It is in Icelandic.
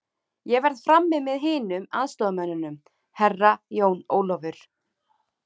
Ég verð frammi með hinum aðstoðarmönnunum, Herra Jón Ólafur.